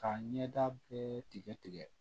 Ka ɲɛda bɛɛ tigɛ tigɛ